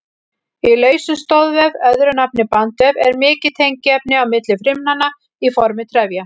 Í lausum stoðvef, öðru nafni bandvef, er mikið tengiefni á milli frumnanna í formi trefja.